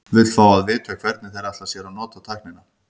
Vill fá að vita, hvernig þeir ætla sér að nota tæknina.